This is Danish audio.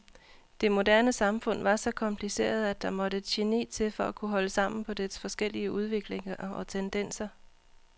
Det moderne samfund var så kompliceret at der måtte et geni til for at kunne holde sammen på dets forskellige udviklinger og tendenser.